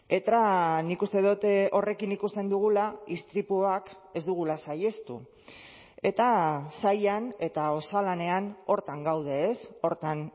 eta nik uste dut horrekin ikusten dugula istripuak ez dugula saihestu eta sailan eta osalanean horretan gaude horretan